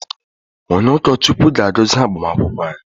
Onye ụkọ Chukwu ga-agozi agbamakwụkwọ anyị.